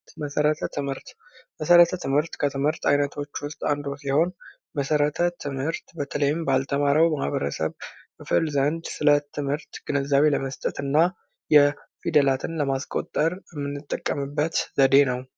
መሰረተ ትምህርት፤ መሰረተ ትምህርት፦ ከትምህርት አይነቶች ውስጥ አንዱ ሲሆን መሰረተ ትምህርት በተለይም ባልተማረው ማህበረሰብ ክፍል ዘንድ ስለትምህርት ግንዛቤ ለመስጠትና ፊደላትን ለማስቆጠር የምንጠቀምበት ዘደ ነው።